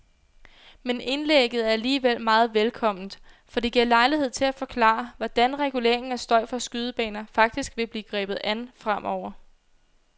Men indlægget er alligevel meget velkomment, for det giver lejlighed til at forklare, hvordan reguleringen af støj fra skydebaner faktisk vil blive grebet an fremover.